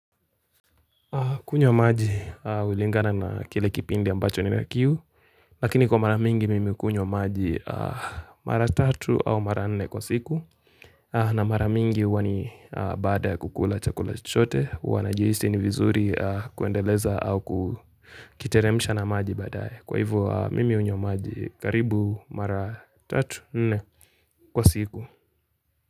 Kunywa maji hulingana na kile kipindi ambacho nina kiu, lakini kwa maramingi mimi hukunywa maji mara 3 au mara 4 kwa siku, na maramingi huwa ni baada ya kukula chakula chote, huwa najihisi ni vizuri kuendeleza au kukiteremusha na maji baadae, kwa hivo mimi hunywa maji karibu mara 3, 4 kwa siku.